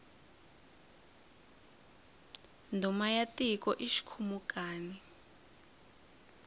ndhuna ya tiko i xikhumukani